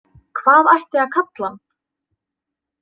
Hvað ætti að kalla hann?